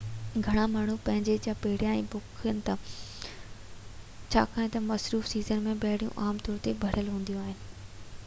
گهڻا ماڻهو پنهنجي جاءَ پهريان ئي بُڪ ڪن ٿا ڇاڪان تہ مصروف سيزن م ٻيڙيون عام طور تي ڀريل هونديون آهن